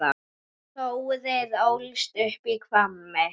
Þórir ólst upp í Hvammi.